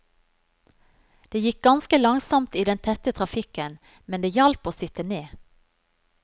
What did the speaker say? Det gikk ganske langsomt i den tette trafikken, men det hjalp å sitte ned.